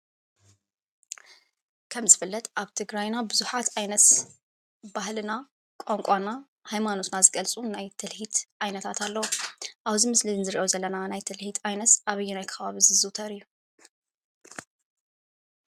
ከም ዝፍለጥ ኣብ ትግራይና ብዙሓት ዓይነት ባህልና፣ ቋንቋና ፣ሃይማኖትና ዝገልፁ ናይ ትልሂት ዓይነታት ኣለዉ። ኣብዚ ምስሊ እዚ እንሪኦ ዘለና ናይ ትልሂት ዓይነት ኣበየናይ ከባቢ ዝዝዉተር እዩ?